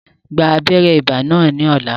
Gba abéré ibà náà ní ní ọ̀la